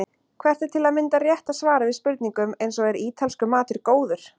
Hvert er til að mynda rétta svarið við spurningum eins og Er ítalskur matur góður?